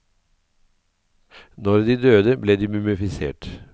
Når de døde ble de mumifisert.